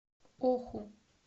оху